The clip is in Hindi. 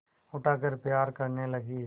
उठाकर प्यार करने लगी